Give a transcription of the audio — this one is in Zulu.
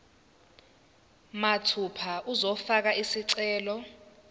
mathupha uzofaka isicelo